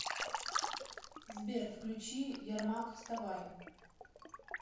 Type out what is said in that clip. сбер включи ярмак вставай